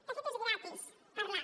de fet és gratis parlar